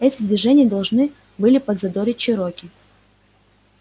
эти движения должны были подзадорить чероки